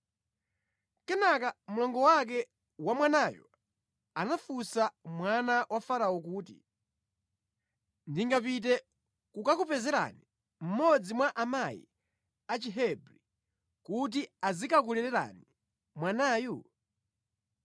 Kenaka mlongo wake wa mwanayo anafunsa mwana wa Farao kuti, “Ndingapite kukakupezerani mmodzi mwa amayi a Chihebri kuti azikakulererani mwanayu?”